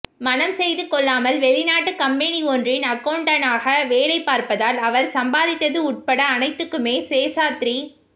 மணம் செய்து கொள்ளாமல் வெளிநாட்டுக் கம்பெனி ஒன்றின் அக்கவுண்டண்டாக வேலை பார்ப்பதால் அவர் சம்பாதித்தது உட்பட அனைத்துக்குமே சேஷாத்ரி